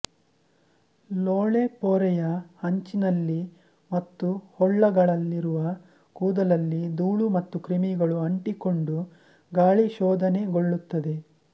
ಲೋಳೆಪೊರೆಯ ಅಂಚಿನಲ್ಲಿ ಮತ್ತು ಹೊಳ್ಳಗಳಲ್ಲಿರುವ ಕೂದಲಲ್ಲಿ ದೂಳು ಮತ್ತು ಕ್ರಿಮಿಗಳು ಅಂಟಿಕೊಂಡು ಗಾಳಿ ಶೋಧನೆಗೊಳ್ಳುತ್ತದೆ